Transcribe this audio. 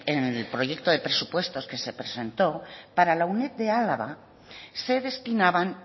en el proyecto de presupuestos que se presentó para la uned de álava se destinaban